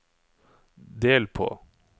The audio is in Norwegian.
del på